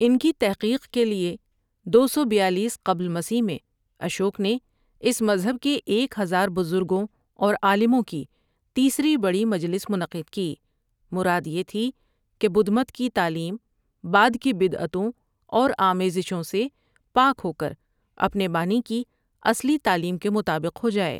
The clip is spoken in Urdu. ان کی تحقیق کے لیے دو سو بیالیس قبل مسیح میں؁ اشوک نے اس مذہب کے ایک ہزار بزرگوں اور عالموں کی تیسری بڑی مجلس منعقد کی مراد یہ تھی کہ بدھ مت کی تعلیم بعد کی بدعتوں اور آمیزشوں سے پاک ہو کر اپنے بانی کی اصلی تعلیم کے مطابق ہو جائے ۔